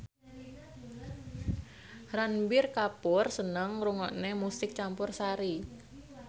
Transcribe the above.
Ranbir Kapoor seneng ngrungokne musik campursari